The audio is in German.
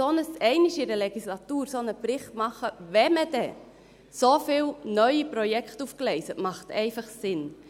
Einmal pro Legislatur einen solchen Bericht zu machen, wenn man denn so viele neue Projekte aufgleist, macht einfach Sinn.